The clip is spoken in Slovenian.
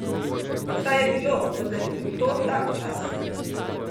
Saj je bilo, vendar je bil to tak čas.